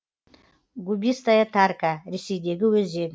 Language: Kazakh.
губистая тарка ресейдегі өзен